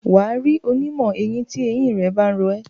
wà á rí onímọ̀-eyín tí eyín ba ń ro ẹ́.